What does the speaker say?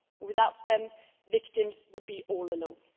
Without them, victims would be all alone.